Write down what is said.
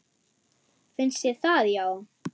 Finnst þér það já.